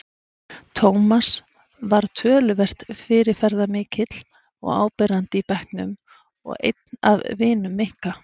Tómas var töluvert fyrirferðarmikill og áberandi í bekknum og einn af vinum Nikka.